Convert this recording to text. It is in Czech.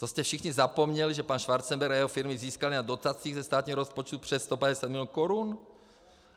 To jste všichni zapomněli, že pan Schwarzenberg a jeho firmy získali na dotacích ze státního rozpočtu přes 150 milionů korun?